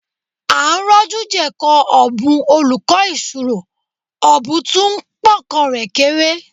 À ń rọ́jú jẹ̀kọ ọ̀bùn olùkọ́ ìṣirò, ọ̀bùn tún ń pọ́nkọ rẹ̀ kéré